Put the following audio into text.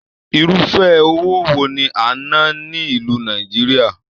Irúfẹ́ owó wo ní a n nà ni ìlú Nàìjíríà?